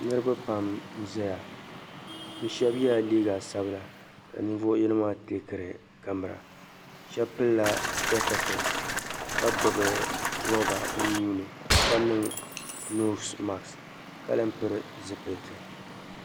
Niriba pam n zaya bɛ shɛba yala liiga sab'laka nin'vuɣu yino maa teekiri kamara shɛb'pilila "spectacles" ka gbubi roba bɛ nuuni ka niŋ "nose mask" ka lan pili zipiliti